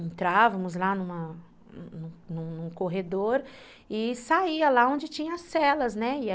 Entrávamos lá num num num corredor e saía lá onde tinha as celas, né?